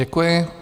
Děkuji.